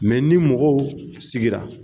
ni mɔgɔw sigira